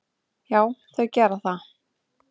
Já, þau gera það.